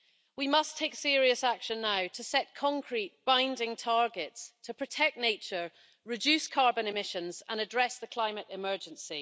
We must take serious action now to set concrete binding targets to protect nature, reduce carbon emissions and address the climate emergency.